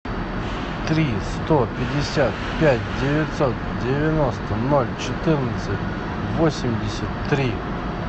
три сто пятьдесят пять девятьсот девяносто ноль четырнадцать восемьдесят три